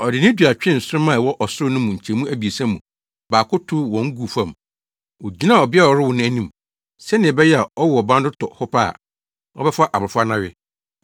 Ɔde ne dua twee nsoromma a ɛwɔ ɔsoro no mu nkyɛmu abiɛsa mu baako tow wɔn guu fam. Ogyinaa ɔbea a ɔrewo no anim, sɛnea ɛbɛyɛ a ɔwo ɔba no to hɔ ara pɛ, ɔbɛfa abofra no awe.